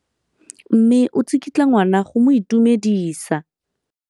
Mme o tsikitla ngwana go mo itumedisa.